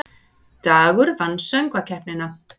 Dagur vann Söngkeppnina